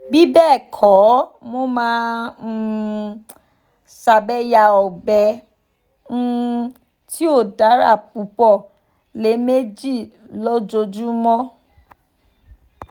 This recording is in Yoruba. bibẹẹkọ mo ma um sabe ya ogbe um ti o dara pupọ lẹmeji lojoojumọ